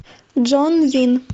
джон вин